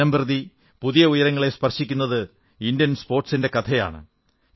ദിനംപ്രതി പുതിയ ഉയരങ്ങളെ സ്പർശിക്കുന്ന ഇന്ത്യൻ സ്പോർട്സിന്റെ കഥയാണിത്